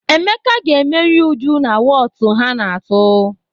Emeka ga-emeri Uju na wọọtụ ha na-atụ.